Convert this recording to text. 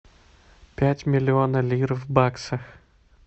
пять миллионов лир в баксах